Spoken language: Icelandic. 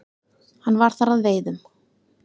Hann var þar að veiðum.